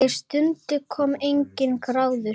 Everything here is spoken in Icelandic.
Og stundum kom enginn grátur.